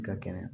Ka kɛnɛ